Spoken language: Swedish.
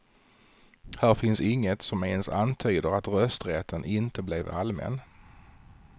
Här finns inget som ens antyder att rösträtten inte blev allmän.